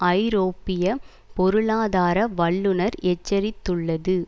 ஐரோப்பிய பொருளாதார வல்லுனர் எச்சரித்துள்ளது